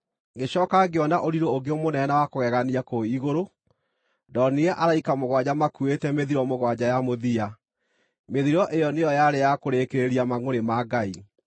Ngĩcooka ngĩona ũrirũ ũngĩ mũnene na wa kũgegania kũu igũrũ: ndonire araika mũgwanja makuuĩte mĩthiro mũgwanja ya mũthia. Mĩthiro ĩyo nĩyo yarĩ ya kũrĩkĩrĩria mangʼũrĩ ma Ngai.